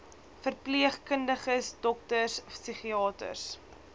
verpleegkundiges dokters psigiaters